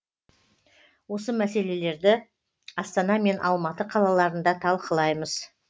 осы мәселелерді астана мен алматы қалаларында талқылаймыз